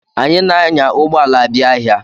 Anyị na-anya ụgbọ ala abia ahịa.